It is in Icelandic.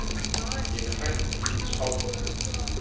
Ég er hræddur við spádóma.